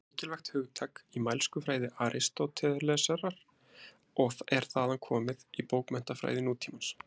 Það var mikilvægt hugtak í mælskufræði Aristótelesar og er þaðan komið í bókmenntafræði nútímans.